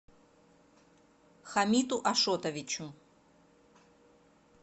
хамиту ашотовичу